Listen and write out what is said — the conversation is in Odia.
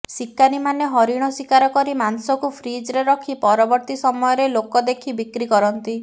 ଶିକାରୀମାନେ ହରିଣ ଶିକାର କରି ମାଂସକୁ ଫ୍ରିଜ୍ରେ ରଖି ପରବର୍ତ୍ତୀ ସମୟରେ ଲୋକ ଦେଖି ବିକ୍ରି କରନ୍ତି